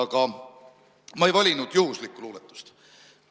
Aga ma ei valinud juhuslikku luuetust.